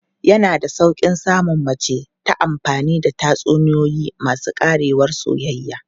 Yana da sauƙi samun mace ta amfani da tatsuniyoyi masu ƙarewar soyayya.